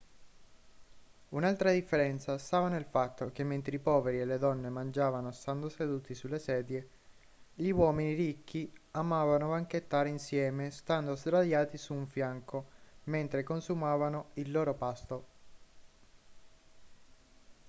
un'altra differenza stava nel fatto che mentre i poveri e le donne mangiavano stando seduti sulle sedie gli uomini ricchi amavano banchettare insieme stando sdraiati su un fianco mentre consumavano il loro pasto